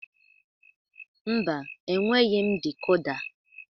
Mba, enweghị m dikoda